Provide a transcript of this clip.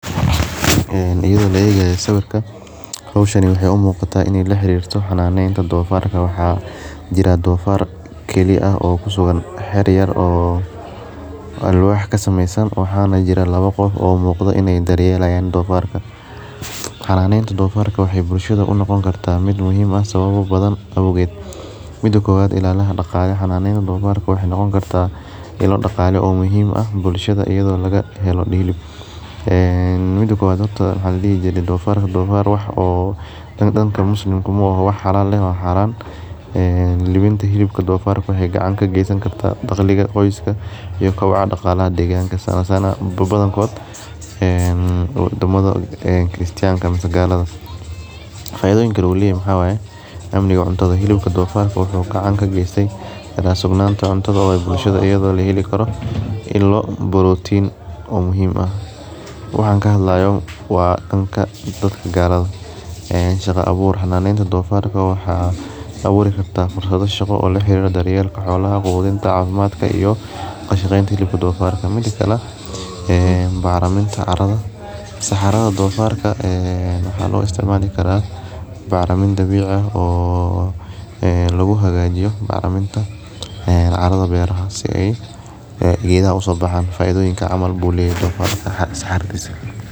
Iyada oo la egayo sawirkan hoshani waxee u muqata ee in ee laxarirto xananeta donfarta waxaa jiraa dofar kale ah oo kusugan xera yar oo alwax kasamesan oo waxaa jiraa lawa qof oo daryelayan ee dofarka xananeta dofarka waxee bulshada unoqoni kartaa sawabo badan ee auged mida kowad daqalaha waye daqalaha dofarka waxee noqon kartaa ila donfarka oo muhiim ah bulshaada in ladigin mida kowad horata waxaa ladihi jire maoro musliminta libinta waxee daqli kagesan karta qoyska iyo kobciga daqalaha sana sana badankod wadamadha kistanka ama galada faidadha kale waxaa waye cynta in lo helo borotin ah waxan kahadlayo waa danka galada ee shaqa abur xananeta fonfarka waxee aburi kartaa shaqo laga helo xananeta xolaha iyo kashaqenta hilibka donfarka mida kale bacriminta saxaraha donfarka waaa lo isticmali karaa bacrimin lagu hagajiyo csradha beera si ee beeraha uso baxan faidhoyinkas ayu leyahay is xarir san.